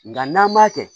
Nga n'an m'a kɛ